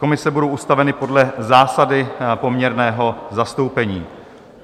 Komise budou ustaveny podle zásady poměrného zastoupení.